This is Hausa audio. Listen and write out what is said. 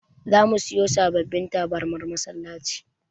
Zamu siyo sababbin tabarmar masallaci.